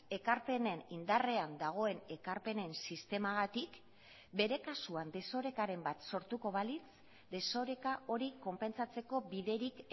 ekarpenen indarrean dagoen ekarpenen sistemagatik bere kasuan desorekaren bat sortuko balitz desoreka hori konpentsatzeko biderik